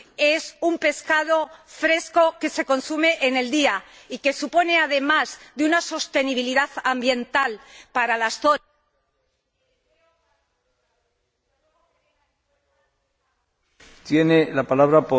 Es un pescado fresco que se consume en el día y que supone, además de una sostenibilidad ambiental para